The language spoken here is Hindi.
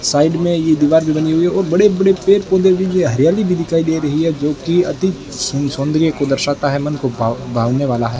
साइड में ये दीवार भी बनी हुई है और बड़े बड़े पेड़ पौधे भी है हरियाली भी दिखाई दे रही है जोकि अती सन सौंदर्य को दर्शाता है मन को भावने वाला है।